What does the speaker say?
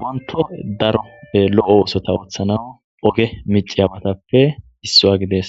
wonto daroppe lo7o wosota ooththana oge miciyabatappe issua gidees